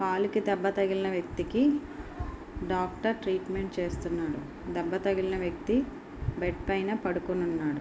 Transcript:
కాలు కి దెబ్బ తగిలిన వ్యక్తికి డాక్టర్ ట్రీట్మెంట్ చేపిస్తున్నారు. దెబ్బ తగిలిన వ్యక్తి బెడ్ పైన పడుకొని ఉన్నారు.